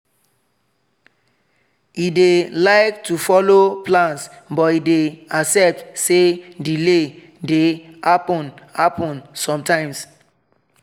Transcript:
e dey like to follow plans but e dey accept say delay dey happen happen sometimes